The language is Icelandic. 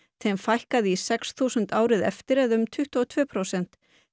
þeim fækkaði í sex þúsund árið eftir eða um tuttugu og tvö prósent